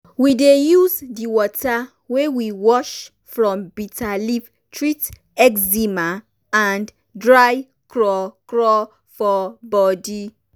we dey use di water wey we wash from bitter leaf treat eczema and dry crawcraw for body.